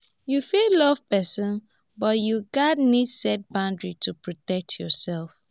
you fit love pesin but you gats need set boundaries to protect yourself.